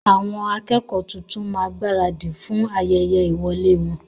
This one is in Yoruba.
Àwọn akẹ́kọ́ọ̀ tuntun máa gbaradì fún ayẹyẹ ìwọ̀lẹ́ wọn.